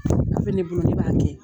Gafe ne bolo ne b'a kɛ